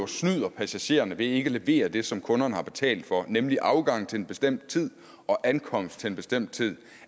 snyder passagererne ved ikke at levere det som kunderne har betalt for nemlig afgang til en bestemt tid og ankomst til en bestemt tid